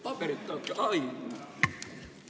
Paberit tahad?